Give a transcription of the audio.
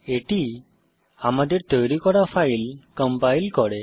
এটি আমাদের তৈরি করা ফাইল কম্পাইল করে